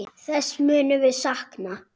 Þess munum við sakna.